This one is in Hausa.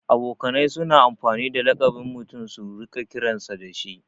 Abokanai suna amfani da laƙabin mutum su riƙa kiransa dashi